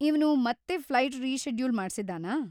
ಇವ್ನು ಮತ್ತೆ flight reschedule ಮಾಡ್ಸಿದ್ದಾನಾ?